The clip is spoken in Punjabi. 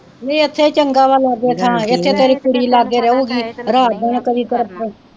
ਨੀ ਇੱਥੇ ਚੰਗਾ ਵਾਂ ਲਾਗੇ ਇੱਥੇ ਤੇਰੀ ਕੁੜੀ ਲਾਗੇ ਰਹੁਗੀ ਰਾਤ ਨੂੰ ਕਦੀ ਕਰ,